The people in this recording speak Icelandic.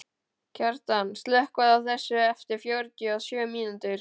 Kjartan, slökktu á þessu eftir fjörutíu og sjö mínútur.